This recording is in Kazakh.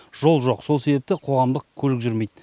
жол жоқ сол себепті қоғамдық көлік жүрмейді